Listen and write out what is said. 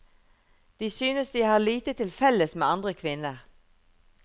De synes de har lite til felles med andre kvinner.